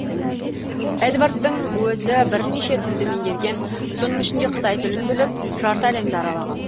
эдвардтың өзі бірнеше тілді меңгерген соның ішінде қытай тілін біліп жарты әлемді аралаған